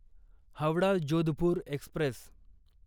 Howrah Jodhpur Express